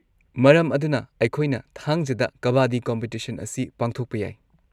ꯃꯔꯝ ꯑꯗꯨꯅ, ꯑꯩꯈꯣꯏꯅ ꯊꯥꯡꯖꯗ ꯀꯕꯥꯗꯤ ꯀꯝꯄꯤꯇꯤꯁꯟ ꯑꯁꯤ ꯄꯥꯡꯊꯣꯛꯄ ꯌꯥꯏ꯫